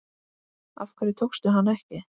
Af hverju tókstu hana ekki?